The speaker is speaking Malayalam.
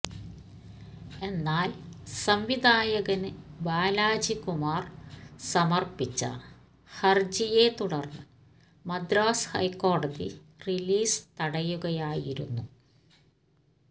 എന്നാല് സംവിധായകന് ബാലാജി കുമാര് സമര്പ്പിച്ച ഹര്ജിയെ തുടര്ന്ന് മദ്രാസ് ഹൈക്കോടതി റിലീസ് തടയുകയായിരുന്നു